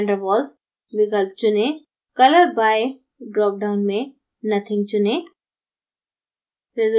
van der waals विकल्प चुनें color by drop down में nothing चुनें